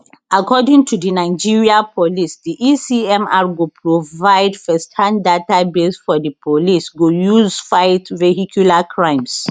according to di nigeria police di ecmr go provide firsthand database for di police go use fight vehicular crimes